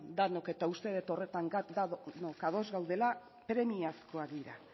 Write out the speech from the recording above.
denok eta uste dut horretan denok ados gaudela premiazkoak dira